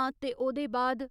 आं ते ओह्दे बाद